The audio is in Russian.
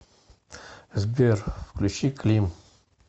сбер включи клим